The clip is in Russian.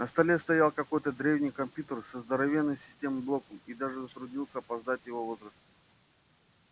на столе стоял какой-то древний компьютер со здоровенным системным блоком и даже затруднился опоздать его возраст